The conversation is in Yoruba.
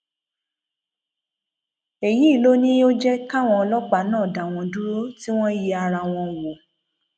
èyí ló ní ò jẹ káwọn ọlọpàá náà dá wọn dúró tì wọn yẹ ara wọn wò